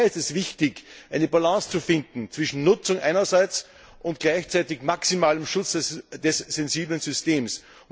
Daher ist es wichtig, eine Balance zu finden zwischen Nutzung einerseits und gleichzeitigem maximalen Schutz dieses sensiblen Systems.